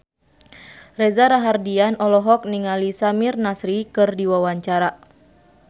Reza Rahardian olohok ningali Samir Nasri keur diwawancara